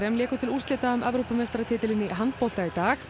léku til úrslita um Evrópumeistaratitilinn í handbolta í dag